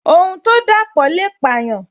Ohun to dapo le payan